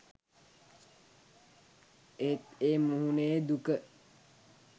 එහෙත් ඒ මුහුණේ දුක